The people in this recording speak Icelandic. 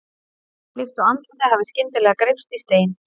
Líkt og andlitið hafi skyndilega greypst í stein.